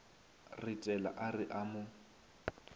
retela a re a mo